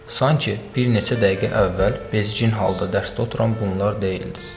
Sanki bir neçə dəqiqə əvvəl bezgin halda dərsdə oturan bunlar deyildilər.